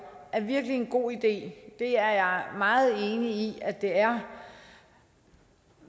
er virkelig en god idé det er jeg meget enig i at det er